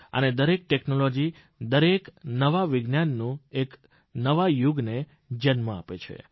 અને દરેક ટેકનોલોજી દરેક નવું વિજ્ઞાન એક નવા યુગને જન્મ આપે છે